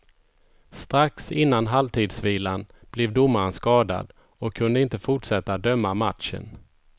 Strax innan halvtidsvilan blev domaren skadad och kunde inte fortsätta döma matchen.